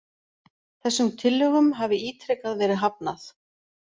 Þessum tillögum hafi ítrekað verið hafnað